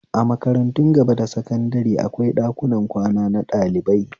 A makaratun gaba da sakandare akwai ɗakunan kwana na ɗalibai